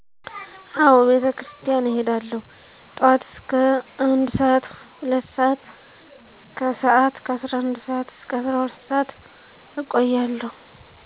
አወ ቤተክርስቲያን እሄዳለሁ ጠዋት እስከ ከአንድ ሰአት 2ሰአት ከሰእት ከ11ሰአት አስከ 12ሰአት እቆያለሁ